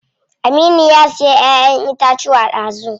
Aminu ya siya ƴaƴen itacuwa dazu.